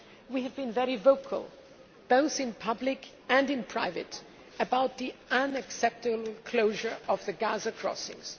Gaza. We have been very vocal, both in public and in private, about the unacceptable closure of the Gaza crossings.